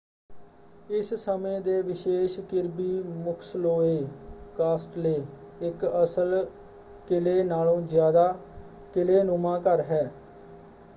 ਇਸ ਸਮੇਂ ਦੇ ਵਿਸ਼ੇਸ਼ ਕਿਰਬੀ ਮੁਕਸਲੋਏ ਕਾਸਟਲੇ ਇਕ ਅਸਲ ਕਿਲੇ ਨਾਲੋਂ ਜ਼ਿਆਦਾ ਕਿਲ੍ਹੇਨੁਮਾ ਘਰ ਹੈ।